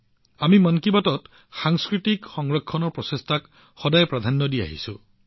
আমি মন কী বাতত সাংস্কৃতিক সংৰক্ষণৰ প্ৰচেষ্টাকো নিয়মীয়া স্থান প্ৰদান কৰিছো